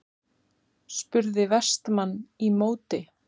spurði Vestmann í móti.